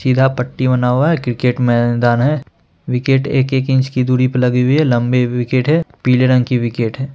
सीधा पट्टी बना हुआ है | क्रिकेट मैदान है | विकेट एक एक इंच की दुरी पर लगी हुई है | लम्बी विकेट है | पीले रंग की विकेट है।